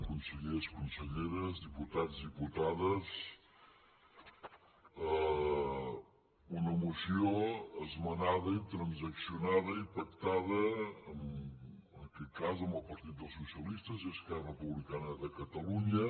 consellers conselleres diputats diputades una moció esmenada i transaccionada i pactada en aquest cas amb el partit dels socialistes i esquerra republicana de catalunya